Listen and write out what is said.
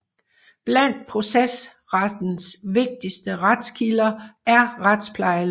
Blandt procesrettens vigtigste retskilder er retsplejeloven